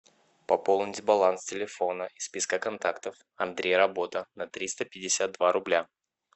пополнить баланс телефона из списка контактов андрей работа на триста пятьдесят два рубля